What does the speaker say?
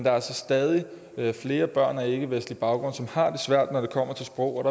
er altså stadig flere børn med ikkevestlig baggrund der har det svært når det kommer til sproget